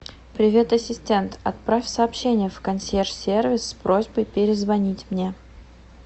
привет ассистент отправь сообщение в консьерж сервис с просьбой перезвонить мне